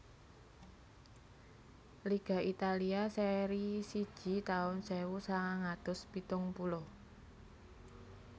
Liga Italia Serie siji taun sewu sangang atus pitung puluh